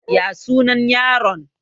Ya suna yaron?